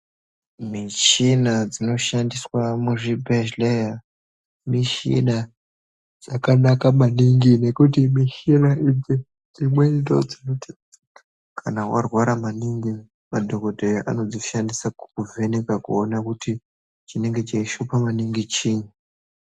Mishina dzinoshandiswa muzvibhedhleya, mishina dzakanaka maningi, nekuti mishina idzi dzimweni ndodzinoite kuti kana warwara maningi, madhokodheya anodzishandisa kukuvheneka kuona kuti, chinenge cheishupa maningi chiini.